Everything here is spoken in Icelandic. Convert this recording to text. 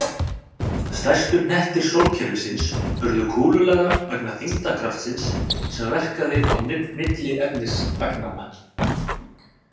Stærstu hnettir sólkerfisins urðu kúlulaga vegna þyngdarkraftsins sem verkaði milli efnisagnanna.